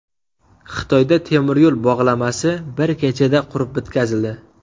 Xitoyda temiryo‘l bog‘lamasi bir kechada qurib bitkazildi .